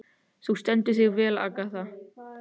Þú stendur þig vel, Agatha!